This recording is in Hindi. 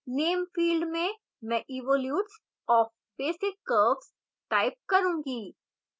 name field में मैं evolutes of basic curves type करूंगी